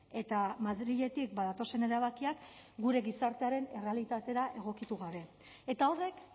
eta madriletik datozen erabakiak gure gizartearen errealitatera egokitu gabe eta horrek